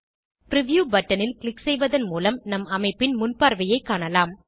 preview பட்டனில் click செய்வதன் மூலம் நம் அமைப்பின் முன்பார்வையை காணலாம்